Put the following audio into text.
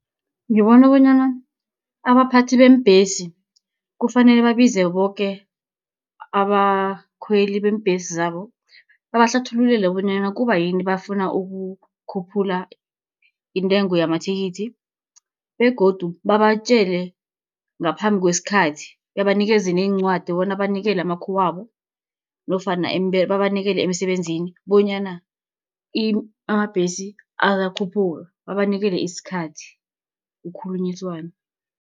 Ngibona bonyana abaphathi beembhesi, kufanele babize boke abakhweli beembhesi zabo, babahlathululele bonyana kubayini bafuna ukukhuphula intengo yamathikithi, begodu babatjele ngaphambi kwesikhathi, babanikeze neencwadi bona banikele amakhuwabo, nofana babanikele emisebenzini bonyana amabhesi ayakhuphuka, babanikele isikhathi kukhulunyiswane.